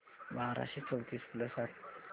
बाराशे चौतीस प्लस अठ्याहत्तर